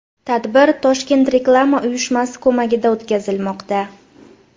Tadbir Toshkent Reklama uyushmasi ko‘magida o‘tkazilmoqda.